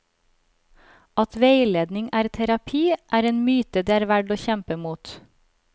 At veiledning er terapi, er en myte det er verdt å kjempe mot.